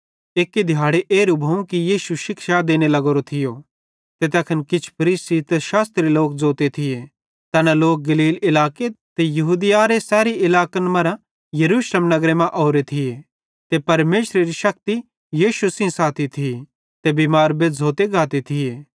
एक्की दिहैड़ी एरू भोवं कि यीशु शिक्षा देने लग्गोरो थियो ते तैखन किछ फरीसी ते शास्त्री लोक ज़ोते थिये तैना गलील इलाके ते यहूदियारे सैरी इलाकन मरां यरूशलेम नगरे मां ओरे थिये ते परमेशरेरी शक्ति यीशु सेइं थी ते बिमार बेज़्झ़ोइतां गाते थिये